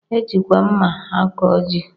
E jikwa mma akọ ji